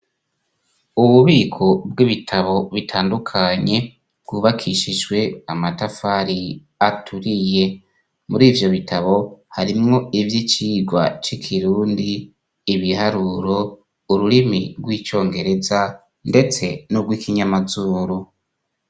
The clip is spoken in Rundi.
Ububiko bw'ibitabo bitandukanye bwubakishishwe amatafari aturiye muri ivyo bitabo harimwo ivyo icirwa c'ikirundi ibiharuro ururimi rw'icongereza, ndetse n'ubwo ikinyamazuru.